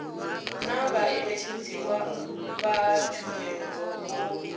naa vhaṋetshedzi vha tshumelo vho